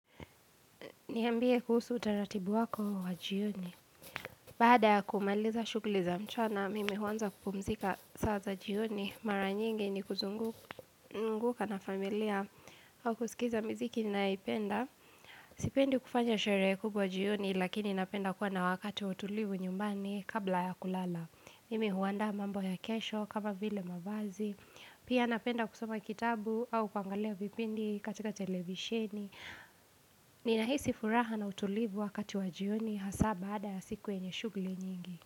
Nihambie kuhusu utaratibu wako wa jioni. Baada ya kumaliza shuguliza mchana, mimi huanza kupumzika saa za jioni. Mara nyingi ni kuzunguka na familia au kusikiza mziki ninaipenda. Sipendi kufanya sherehe kubwa jioni, lakini napenda kuwa na wakati ws utulivu nyumbani kabla ya kulala. Mimi huandaa mambo ya kesho kama vile mavazi. Pia napenda kusoma kitabu au kuangalia vipindi katika televisheni. Ninahisi furaha na utulivu wakati wa jioni Hasaa baada ya siku enye shugli nyingi.